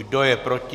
Kdo je proti?